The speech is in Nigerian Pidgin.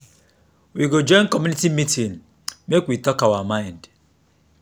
we go join community meeting make we talk our mind.